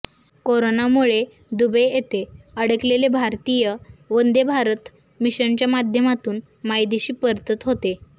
कोरोनामुळे दुबई येथे अडकलेले भारतीय वंदे भारत मिशनच्या माध्यमातून मायदेशी परतत होते